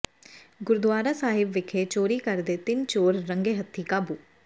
ਗੁਰਦੁਆਰਾ ਸਾਹਿਬ ਵਿਖੇ ਚੋਰੀ ਕਰਦੇ ਤਿੰਨ ਚੋਰ ਰੰਗੇ ਹੱਥੀਂ ਕਾਬੂ